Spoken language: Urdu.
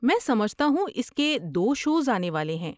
میں سمجھتا ہوں اس کے دو شوز آنے والے ہیں۔